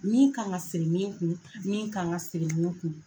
Min ka ŋa siri min kun min ka ŋa siri min kun.